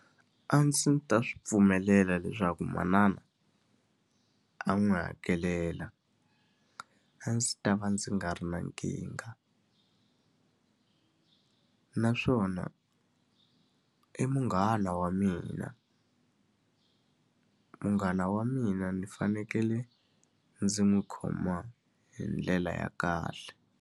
A ndzi ta swi pfumelela leswaku manana a n'wi hakelela. A ndzi ta va ndzi nga ri na nkingha naswona i munghana wa mina. Munghana wa mina ndzi fanekele ndzi n'wi khoma hi ndlela ya kahle.